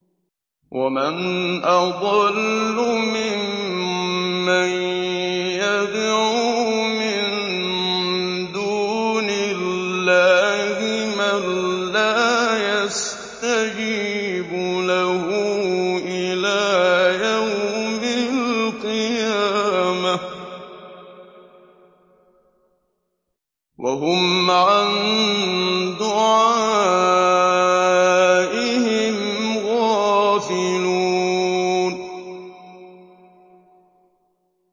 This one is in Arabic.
وَمَنْ أَضَلُّ مِمَّن يَدْعُو مِن دُونِ اللَّهِ مَن لَّا يَسْتَجِيبُ لَهُ إِلَىٰ يَوْمِ الْقِيَامَةِ وَهُمْ عَن دُعَائِهِمْ غَافِلُونَ